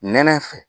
Nɛnɛ fɛ